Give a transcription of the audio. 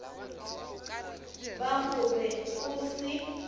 ba go be go se